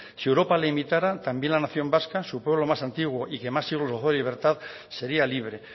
si europa le imitara también la nación vasca su pueblo más antiguo y que más siglos gozó de libertad sería libre